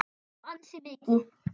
Já, ansi mikið.